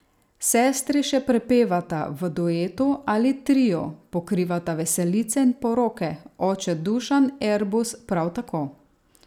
Sestri še prepevata, v duetu ali triu pokrivata veselice in poroke, oče Dušan Erbus prav tako.